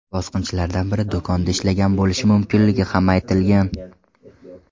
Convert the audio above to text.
Bosqinchilardan biri do‘konda ishlagan bo‘lishi mumkinligi ham aytilgan.